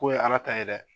Ko ye ala ta ye dɛ